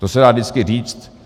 To se dá vždycky říct.